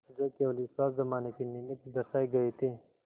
जो केवल विश्वास जमाने के निमित्त दर्शाये गये थे